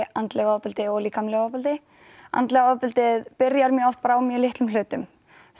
andlegu ofbeldi og líkamlegu ofbeldi andlega ofbeldið byrjar oft á litlum hlutum